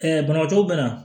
banabagatɔw bɛ na